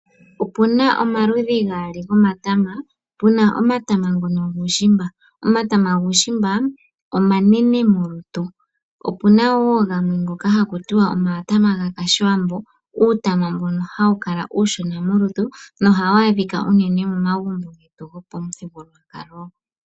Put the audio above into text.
Opuna omaludhi gaali gomatama puna omatama ngono guushimba. Omatama guushimba omanene molutu. Opuna wo gamwe ngono haku tiwa omatama ga kashiwambo uutama mbono hawu kala uushona molutu nohawu adhika uunene momagumbo getu gopamuthigululwakalo.